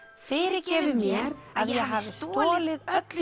fyrirgefið mér að ég hafi stolið öllu